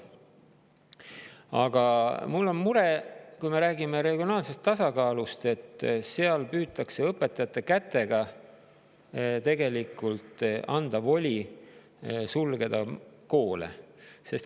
Aga kui me räägime regionaalsest tasakaalust, siis on mul mure, et tegelikult püütakse õpetajate kätega anda voli koole sulgeda.